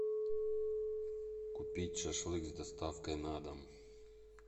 купить шашлык с доставкой на дом